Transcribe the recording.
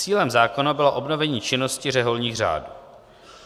Cílem zákona bylo obnovení činnosti řeholních řádů.